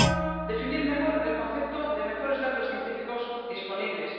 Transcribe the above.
Primero, definir mejor el concepto de mejores datos científicos disponibles.